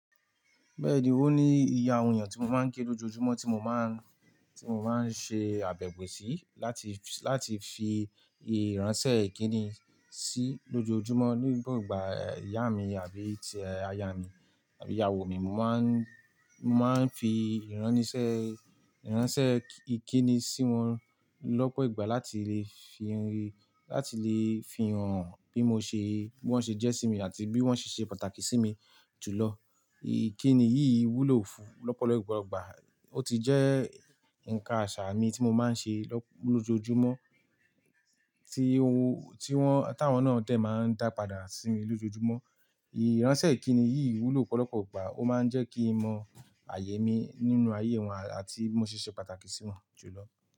Bẹ́ẹ̀ni, ó ní iye àwọn èèyàn tí mo ma ń kí lójoojúmọ́ tí mo ma ń, tí mo ma ń ṣe àbẹ̀wò sí láti, láti fi ìránṣẹ́ ìkíni sí lójoojúmọ́. Nígbo igbà ìyá mi àbí tí aya mi àbí ìyàwó mi, mo máa ń fi ìráníṣẹ́, ìránṣẹ́ ìkíni sí wọn lọ́pọ̀ ìgbà láti lè fi hàn bí wọ́n ṣe jẹ́ sí mi àti bí wọ́n ṣe ṣe pàtàkì sí mi jù lọ. Ìkíni yìí wúlò fún lọ́pọ̀lọpọ̀ ìgbà. Ó ti jẹ́ ǹkan àṣà mi tí mo máa ń ṣe lójoojúmọ́ táwọn náà dee máa ń dà padà sí mi lójoojúmọ́. Ìránṣẹ́ ìkíni yìí wúlò pọ́lọpọ̀ ìgbà, ó máa ń jẹ́ kí mo mọ àyè mi nínú ayé wọn àti bí mo ṣe ṣe pàtàkì sí wọn jù lọ.